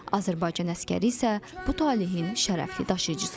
Azərbaycan əsgəri isə bu talehin şərəfli daşıyıcısıdır.